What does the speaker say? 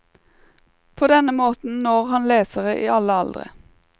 På denne måten når han lesere i alle aldre.